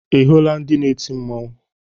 Ị hụrụ ndị na-eti mmanwụ?